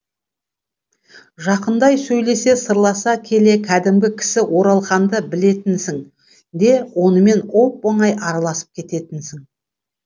жақындай сөйлесе сырласа келе кәдімгі кісі оралханды білетінсің де онымен оп оңай араласып кететінсің